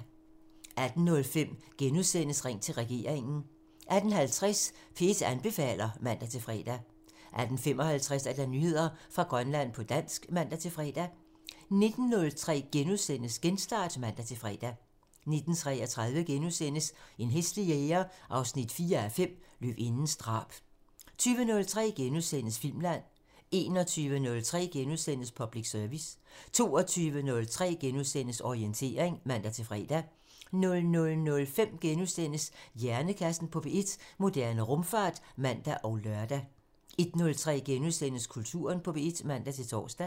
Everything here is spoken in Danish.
18:05: Ring til regeringen *(man) 18:50: P1 anbefaler (man-fre) 18:55: Nyheder fra Grønland på dansk (man-fre) 19:03: Genstart *(man-fre) 19:33: En hæslig jæger 4:5 – Løvindens drab * 20:03: Filmland *(man) 21:03: Public Service *(man) 22:03: Orientering *(man-fre) 00:05: Hjernekassen på P1: Moderne rumfart *(man og lør) 01:03: Kulturen på P1 *(man-tor)